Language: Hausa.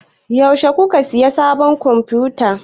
Yaushe kuka siya sabin konfuta?